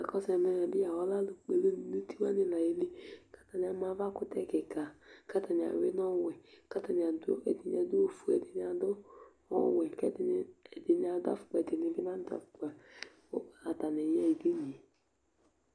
akɔsu ɛmɛ bi ɔlɛ alò kpɔ ɛlu do n'uti wani la yeli k'atani ama ava kutɛ keka k'atani awi n'ɔwɛ k'atani adu ɛdini adu ofue ɛdini adu ɔwɛ k'ɛdini adu afukpa ɛdini bi n'adu afukpa k'atani ya ɣa ɛdini yɛ